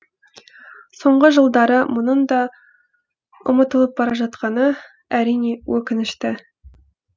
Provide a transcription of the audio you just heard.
соңғы жылдары мұның да ұмытылып бара жатқаны әрине өкінішті